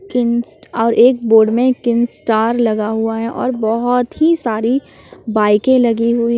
और एक बोर्ड में किम स्टार लगा हुआ है और बहोत ही सारी बाईके लगी हुई--